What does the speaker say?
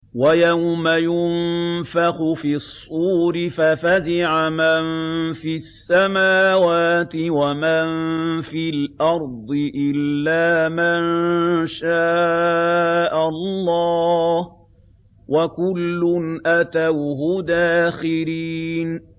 وَيَوْمَ يُنفَخُ فِي الصُّورِ فَفَزِعَ مَن فِي السَّمَاوَاتِ وَمَن فِي الْأَرْضِ إِلَّا مَن شَاءَ اللَّهُ ۚ وَكُلٌّ أَتَوْهُ دَاخِرِينَ